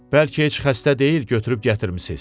Bəlkə heç xəstə deyil, götürüb gətirmisiz?